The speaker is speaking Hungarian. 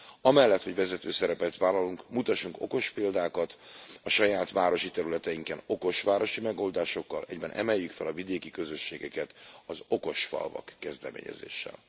Amellett, hogy vezető szerepet vállalunk, mutassunk okos példákat, a saját városi területeinken okos városi megoldásokkal, egyben emeljük fel a vidéki közösségeket az okosfalvak kezdeményezéssel.